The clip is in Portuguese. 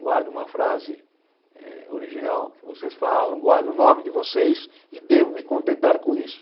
guardo uma frase eh original que vocês falam, guardo o nome de vocês e devo me contentar com isso.